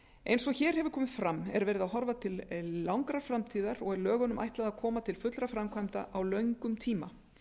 eins og hér hefur komið fram er verið að horfa til langrar framtíðar og er lögunum ætlað að koma til fullra framkvæmda á löngum tíma